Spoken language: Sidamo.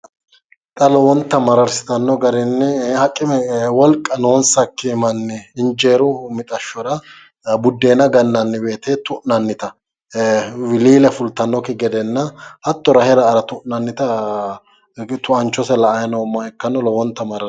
Xa lowonta mararsitanno garinni haqime woyi wolqa noonsakki manni mixashshora buddeenagannanni woyite horonsi'nannita hattono wiliile fultannokki gede hattono rahe ra'ara tuaanchose la'ay noommoha ikkanno lowinat mararsitanno